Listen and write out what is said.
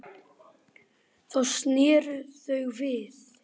Þá sneru þau við.